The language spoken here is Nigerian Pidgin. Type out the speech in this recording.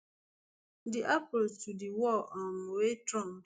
di approach to di war um wey trump